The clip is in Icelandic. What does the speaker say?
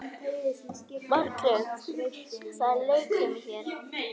Margrét: En það er leikfimi hér.